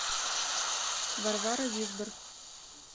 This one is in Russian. варвара визбор